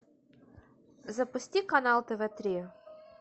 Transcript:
запусти канал тв три